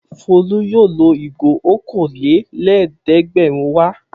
Folú yóò lo ìgò okòólélẹ́ẹ̀dẹ́gbẹ̀rúndínẹ̀wá.